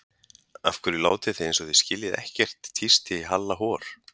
Af hverju látið þið eins og þið skiljið ekkert tísti í Halla hor.